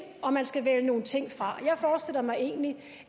og man skal vælge nogle ting fra jeg forestiller mig egentlig